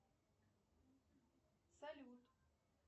салют